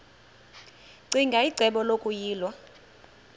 ccinge icebo lokuyilwa